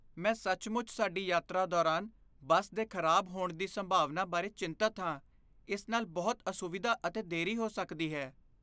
ਮੈਂ ਸੱਚਮੁੱਚ ਸਾਡੀ ਯਾਤਰਾ ਦੌਰਾਨ ਬੱਸ ਦੇ ਖ਼ਰਾਬ ਹੋਣ ਦੀ ਸੰਭਾਵਨਾ ਬਾਰੇ ਚਿੰਤਤ ਹਾਂ, ਇਸ ਨਾਲ ਬਹੁਤ ਅਸੁਵਿਧਾ ਅਤੇ ਦੇਰੀ ਹੋ ਸਕਦੀ ਹੈ।